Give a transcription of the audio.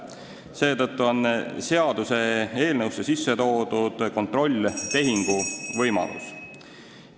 Seetõttu on seaduseelnõusse sisse toodud kontrolltehingu võimalus.